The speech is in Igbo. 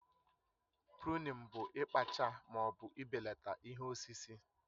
Pụrunin bụ ikpaacha ma ọ bụ ibelata ihe osisi